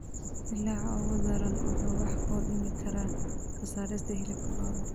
Dillaaca ugu daran wuxuu wax u dhimi karaa soosaarka hilibka lo'da.